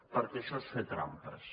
perquè això és fer trampes